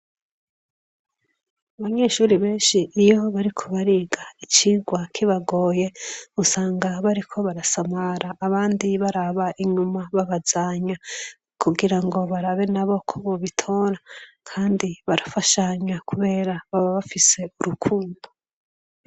abanyeshure benshi iyo bariko bariga icigwa kibagoye usanga bariko barasamara abandi baraba inyuma babazanya kugira ngo barabe na bo ko bubitora kandi barafashanya kubera baba bafise urukundo